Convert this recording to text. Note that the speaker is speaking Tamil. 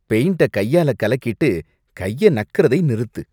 பெயிண்ட்ட கையால கலக்கிட்டு கைய நக்குறதை நிறுத்து.